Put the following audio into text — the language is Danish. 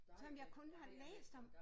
Som jeg kun har læst om